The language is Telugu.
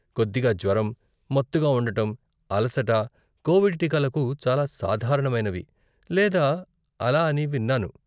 కొద్దిగా జ్వరం, మత్తుగా ఉండటం, అలసట, కోవిడ్ టీకాలకు చాలా సాధారణమైనవి లేదా అలా అని విన్నాను.